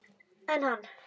En hann!